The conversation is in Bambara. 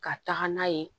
Ka taga n'a ye